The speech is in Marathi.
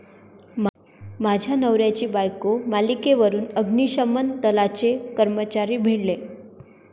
माझ्या नवऱ्याची बायको' मालिकेवरून अग्निशमन दलाचे कर्मचारी भिडले